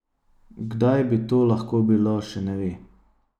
Kdaj bi to lahko bilo, še ne ve.